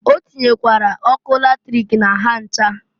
Ọ tinyekwara ọkụ latrik na ha ncha.